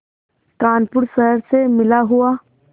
कानपुर शहर से मिला हुआ